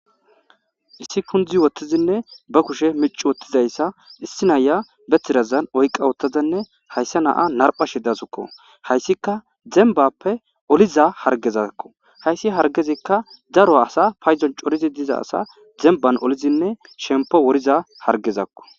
issi kundzi wottizinne ba kushe mic wottizayssa issi naya betirazan oyqa wottadanne hayssa naa narpha shi dasukko hayssika zembappe oliza hargezakko hayssi hargezikka daro asa payzon corizi diza asa zemban olizinne shempo woriza hargezakko